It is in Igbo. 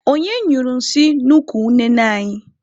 Onye nyụrụ nsị n'ukwu unene anyị?